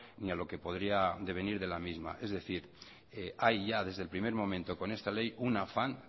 ni a lo que podría devenir de la misma es decir hay ya desde el primer momento con esta ley un afán